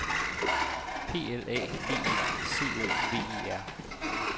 P L A D E C O V E R